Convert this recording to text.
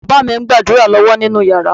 Bàbá mi ń gbàdúrà lọ́wọ́ nínú yàrá.